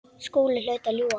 Skúli hlaut að ljúga.